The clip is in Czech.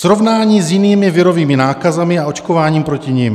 Srovnání s jinými virovými nákazami a očkováním proti nim.